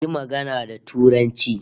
Yi magana da Turanci